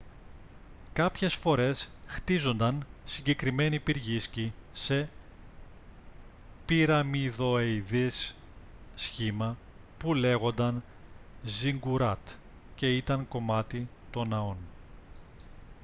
κάποιες φορές χτίζονταν συγκεκριμένοι πυργίσκοι σε πυραμιδοειδές σχήμα που λέγονταν ζιγκουράτ και ήταν κομμάτι των ναών